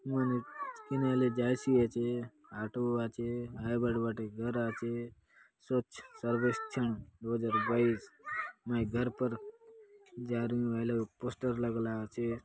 मनुख किनारे ले जायसी आचे आटो आचे हाय बाट बाटे घर आचे स्वच्छ सर्वेक्षण दो हज़ार बाइस मैं घर पर जा रही हूँ हाय लगे पोस्टर लगला आचे